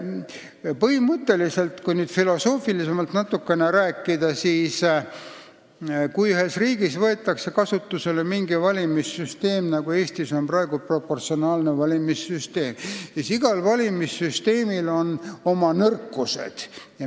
Põhimõtteliselt on nii, kui nüüd natukene filosoofilisemalt rääkida, et kui riigis võetakse kasutusele mingi valimissüsteem, nagu Eestis on praegu kasutusel proportsionaalne valimissüsteem, siis tuleb meeles pidada, et igal süsteemil on oma nõrkused.